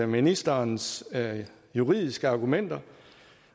ministerens juridiske argumenter